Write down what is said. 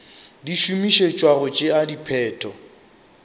di šomišetšwa go tšea sephetho